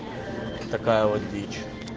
такая вот дичь